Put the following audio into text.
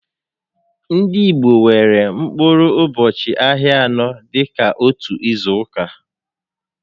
Ndị Igbo nwèrè mkpụrụ ụbọchị ahịa anọ dịka ótú ízù